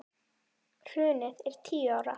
Hrunið er tíu ára.